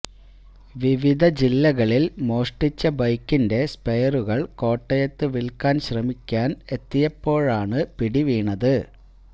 വിവിധ ജില്ലകളിൽ മോഷ്ടിച്ച ബൈക്കിന്റെ സ്പെയറുകൾ കോട്ടയത്ത് വിൽക്കാൻ ശ്രമിക്കാൻ എത്തിയപ്പോഴാണ് പിടി വീണത്